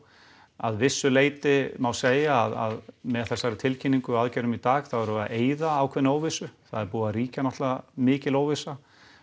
að vissu leyti má segja að með þessari tilkynningu í dag þá erum við að eyða ákveðinni óvissu það er búin að ríkja náttúrulega mikil óvissa